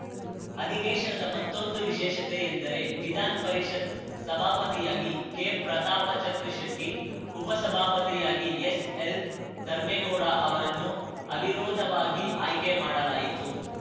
ಅಧಿವೇಶನದ ಮತ್ತೊಂದು ವಿಶೇಷತೆ ಎಂದರೆ ವಿಧಾನ ಪರಿಷತ್‌ ಸಭಾಪತಿಯಾಗಿ ಕೆ ಪ್ರತಾಪಚಂದ್ರಶೆಟ್ಟಿ ಉಪಸಭಾಪತಿಯಾಗಿ ಎಸ್‌ಎಲ್‌ ಧರ್ಮೆಗೌಡ ಅವರನ್ನು ಅವಿರೋಧವಾಗಿ ಆಯ್ಕೆ ಮಾಡಲಾಯಿತು